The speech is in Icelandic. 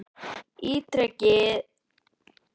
ítrekaði foringinn og í sömu svipan rakst ég á hann.